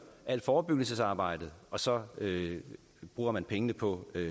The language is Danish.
alt forebyggelsesarbejdet og så bruger man pengene på